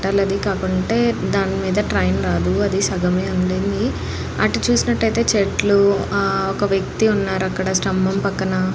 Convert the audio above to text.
పట్టాల కాకుంటే దాని మీద ట్రైన్ రాదు అది సగమే ఉండింది అటు చూసినట్టైతే చెట్లు ఆ ఒక వ్యక్తి ఉన్నారు అక్కడ స్థంభం పక్కన --